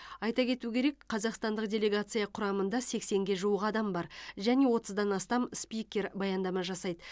айта кету керек қазақстандық делегация құрамында сексенге жуық адам бар және отыздан астам спикер баяндама жасайды